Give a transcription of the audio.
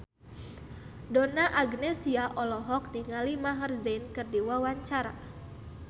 Donna Agnesia olohok ningali Maher Zein keur diwawancara